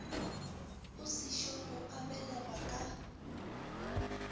a sešogo a belegwa ka